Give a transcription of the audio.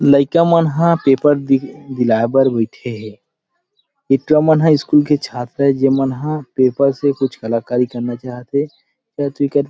लइका मनह पेपर दी दिलाइबर बईठे हे ए टूरा मन हा स्कूल के छात्र ए जे मनह पेपर से कुछ कलाकारी करना चाहत हे पर तेकर --